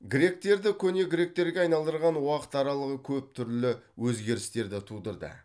гректерді көне гректерге айналдырған уақыт аралығы көп түрлі өзгерістерді тудырды